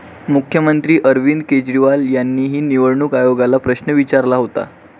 मुख्यमंत्री अरविंद केजरीवाल यांनीही निवडणूक आयोगाला प्रश्न विचारला होता.